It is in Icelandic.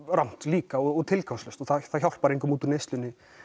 rangt líka og tilgangslaust og það hjálpar engum út úr neyslu